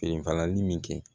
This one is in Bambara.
falanli min kɛ